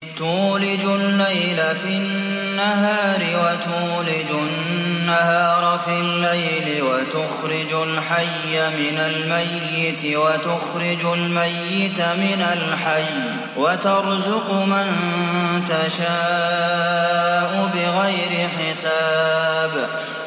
تُولِجُ اللَّيْلَ فِي النَّهَارِ وَتُولِجُ النَّهَارَ فِي اللَّيْلِ ۖ وَتُخْرِجُ الْحَيَّ مِنَ الْمَيِّتِ وَتُخْرِجُ الْمَيِّتَ مِنَ الْحَيِّ ۖ وَتَرْزُقُ مَن تَشَاءُ بِغَيْرِ حِسَابٍ